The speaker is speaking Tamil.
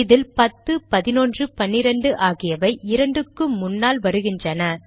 இதில் பத்து பதினொன்று பன்னிரண்டு ஆகியவை இரண்டுக்கு முன்னால் வருகின்றன